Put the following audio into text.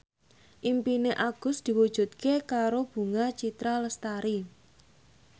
impine Agus diwujudke karo Bunga Citra Lestari